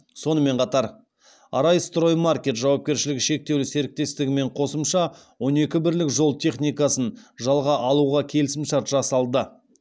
сонымен қатар арайстроймаркет жауапкершілігі шектеулі серіктестігімен қосымша он екі бірлік жол техникасын жалға алуға келісімшарт жасалды